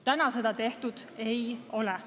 Täna seda tehtud ei ole.